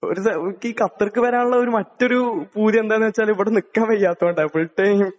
ഒരു...എനിക്കീ ഖത്തർക്ക് വരാനുള്ള മറ്റൊരു പൂതി എന്താ നു വച്ചാല് ഇവിടെ നിൽക്കാൻ വയ്യാത്തോണ്ടാ ഫുൾ ടൈം